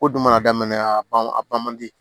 Ko dun mana daminɛ a ban a ban man di